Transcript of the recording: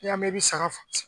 I y'a mɛn i bɛ saga